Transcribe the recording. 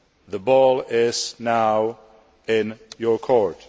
The ball is now in your court.